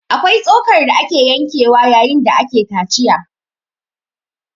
Akwai tsokar da ake yankewa yayin da ake kaciya